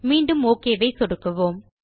மீண்டும் ஒக் ஐ சொடுக்குவோம்